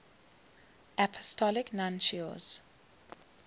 apostolic nuncios